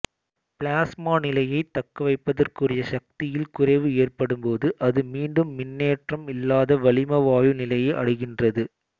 plasma நிலையைத் தக்கவைப்பதற்குரிய சக்தியில் குறைவு ஏற்படும்போது அது மீண்டும் மின்னேற்றம் இல்லாத வளிம வாயு நிலையை அடைகின்றது